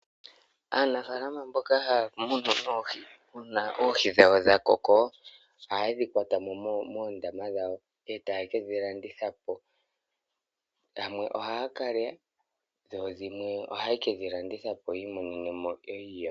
Aanafaalama mboka haya munu oohi uuna oohi dhawo dha koko, ohaye dhi kwatamo moondama dhawo, etaye kedhi landitha po. Dhimwe ohaya kalya, dho dhimwe oha yekedhi landitha po, yiimonene iiyemo.